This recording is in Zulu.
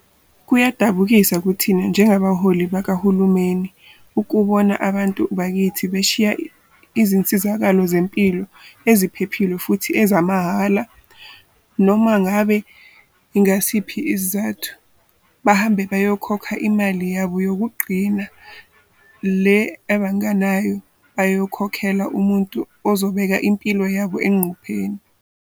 "Kuyadabukisa kithina njengabaholi bakahulumeni ukubona abantu bakithi beshiya izinsizakalo zezempilo eziphephile futhi ezimahhala, noma ngabe yingasiphi isizathu, bahambe bayokhokha imali yabo yokugcina le abangenayo bayokhokhela umuntu ozobeka impilo yabo engcupheni."